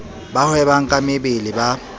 ba hwebang ka mebele ba